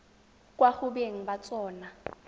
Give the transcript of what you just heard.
kwa go beng ba tsona